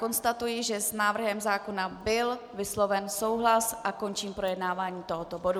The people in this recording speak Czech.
Konstatuji, že s návrhem zákona byl vysloven souhlas, a končím projednávání tohoto bodu.